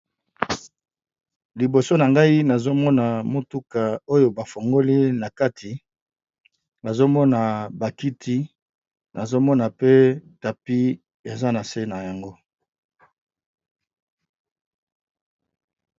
liboso na ngai nazomona motuka oyo bafongoli na kati bazomona bakiti nazomona pe tapi eza na se na yango